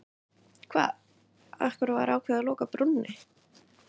Hvað, af hverju var ákveðið að loka brúnni?